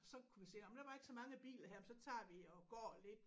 Så kunne vi se nåh men der var ikke så mange biler her men så tager vi og går lidt